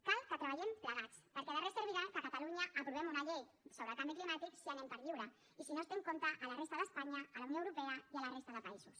cal que treballem plegats perquè de res servirà que a catalunya aprovem una llei sobre el canvi climàtic si anem per lliure i si no es té en compte a la resta d’espanya a la unió europea i a la resta de països